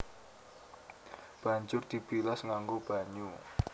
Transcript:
Banjur dibilas nganggo banyu